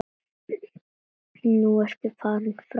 Nú ertu farin frá okkur.